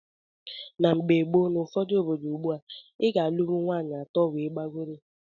Na mgbe gboo na ụfọdụ obodo ugbua, i ga - alunwu nwaanyị atọ wee gbagọrọ.